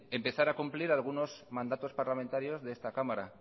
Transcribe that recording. empezar a cumplir algunos mandatos parlamentarios de esta cámara